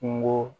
Kungo